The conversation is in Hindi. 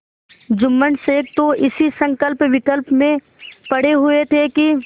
जुम्मन शेख तो इसी संकल्पविकल्प में पड़े हुए थे कि